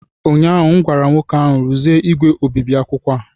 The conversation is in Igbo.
ụnyahụ m gwara nwoke ahụ, rụzie igwe obibi akwụkwọ a!